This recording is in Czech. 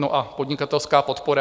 No a podnikatelská podpora?